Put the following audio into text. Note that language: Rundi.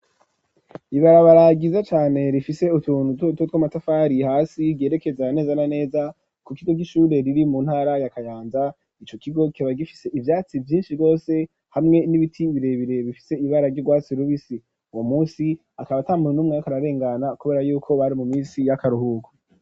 Ibarabara ryiza cane rifise utuntu dutoduto tw'amatafari hasi ryerekeza neza na neza ku kigo c'ishure riri mu ntara ya Kayanza, ico kigo kiba gifise ivyatsi vyinshi gose hamwe n'ibiti birebire bifise ibara ry'urwatsi rubisi, uwo munsi akaba atamuntu n,umwe yarik'ararengana kubera yuko bari mu misi y'akaruhuko.